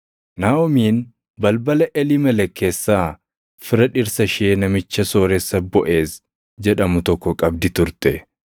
Naaʼomiin balbala Eliimelek keessaa fira dhirsa ishee namicha sooressa Boʼeez jedhamu tokko qabdi turte.